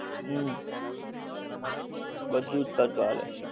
હમ બધુજ ખર્ચા લે